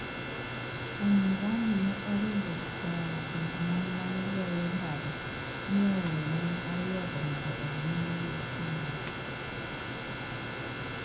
Umm Rami ne oringo oa e kind mon ma ne goyo mbaka, mi oweyo mon ariyogo mondo odhi nyime gi mbaka.